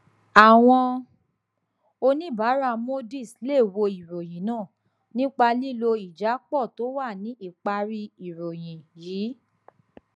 àwọn oníbàárà moodys lè wo ìròyìn náà nípa lílo ìjápọ tó wà ní ìparí ìròyìn yìí